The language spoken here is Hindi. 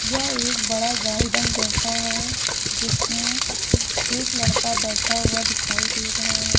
यह एक बड़ा गार्डन जैसा है जिसमें एक लड़का बैठा हुआ दिखाई दे रहा है।